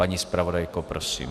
Paní zpravodajko, prosím.